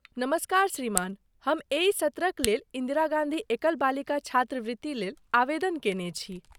नमस्कार श्रीमान, हम एहि सत्रक लेल इन्दिरा गाँधी एकल बालिका छात्रवृत्ति लेल आवेदन कयने छी।